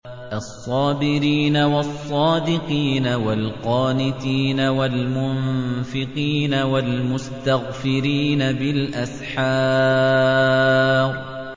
الصَّابِرِينَ وَالصَّادِقِينَ وَالْقَانِتِينَ وَالْمُنفِقِينَ وَالْمُسْتَغْفِرِينَ بِالْأَسْحَارِ